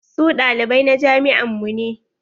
Su ɗalibai na jami'an mu ne.